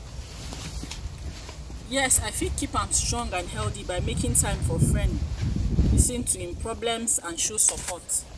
you know how you how you fit keep a friendship strong and healthy?